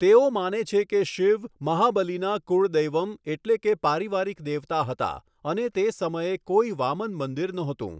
તેઓ માને છે કે શિવ મહાબલિના 'કુળદૈવમ' એટલે કે પારિવારિક દેવતા હતા અને તે સમયે કોઈ વામન મંદિર નહોતું.